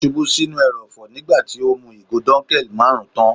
Ó ṣubú sí inú ẹrọ̀fọ̀ nígbà tí ó mú ìgò dunkel marun tán.